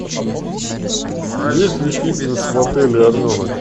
есть ли фитнес в отеле орленок